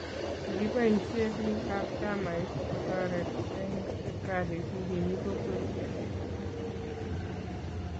Kikibaisie biik ab chamait kotoret eng siptalit nikimii kokwet